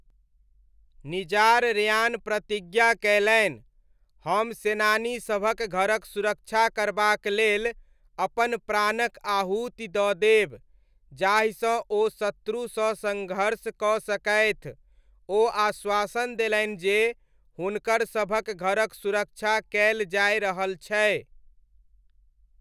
Nizar Rayyan प्रतिज्ञा कयलनि, 'हम सेनानीसभक घरक सुरक्षा करबाक लेल अपन प्राणक आहुति दऽ देब, जाहिसँ ओ शत्रुसँ सँघर्ष कऽ सकथि, ओ आश्वासन देलनि जे हुनकर सभक घरक सुरक्षा कयल जाय रहल छै।